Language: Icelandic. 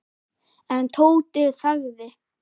En Tóti þagði.